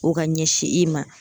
O ka ɲɛsin i ma.